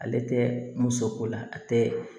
Ale tɛ muso ko la a tɛ